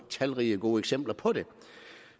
talrige gode eksempler på det